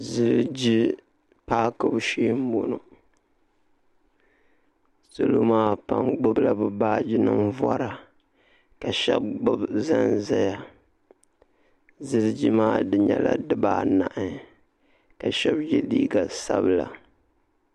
ziliji pakibu shɛɛ n buno salo maa pam gbala be baaji nima bori ka shɛba gbabi zanzaya ziliji di nyɛla di baa nahi ka shɛba yɛ liga sabila